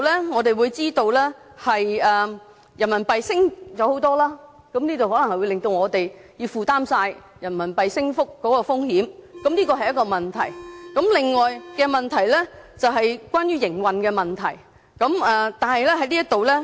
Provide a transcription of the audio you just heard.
我們當然知道人民幣大幅上升，會令到本港要負責人民幣升幅的風險，這是一個問題，而另一個是關於營運的問題。